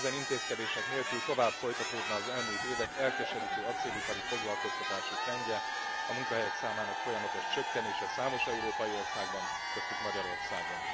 Ezen intézkedések nélkül tovább folytatódna az elmúlt évek elkeserítő acélipari foglalkoztatási trendje, a munkahelyek számának folyamatos csökkenése számos európai országban, köztük Magyarországon.